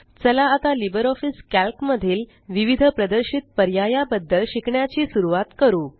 चला आता LibreOffice Calc मधील विविध प्रदर्शित पर्याया बद्दल शिकण्याची सुरवात करू